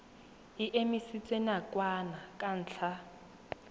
e emisitswe nakwana ka ntlha